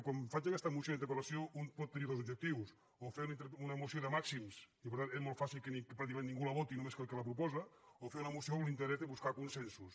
quan faig aquesta moció i interpel·lació un pot tenir dos objectius o fer una moció de màxims i per tant és molt fàcil que pràcticament ningú la voti només el que la proposa o fer una moció amb l’interès de buscar consensos